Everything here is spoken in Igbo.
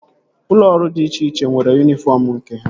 Ụlọ ọrụ dị iche iche nwere yunifọm nke ha